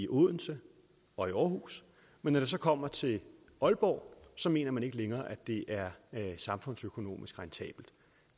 odense og aarhus men når det så kommer til aalborg mener man ikke længere at det er samfundsøkonomisk rentabelt